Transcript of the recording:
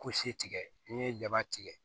tigɛ n'i ye jaba tigɛ